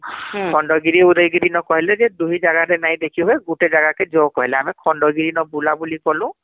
ହୁଁ ଖଣ୍ଡଗିରି ଉଦୟଗିରି ନ କହିଲେ ଯେ ଦୁହି ଜାଗାରେ ନାଇଁ ଦେଖିବେ , ଗୁଟେ ଜାଗା କେ ଜୋ କାଗିଲେ ଆମେ ଖଣ୍ଡଗିରି ନ ବୁଲା ବୁଲି କଲୁ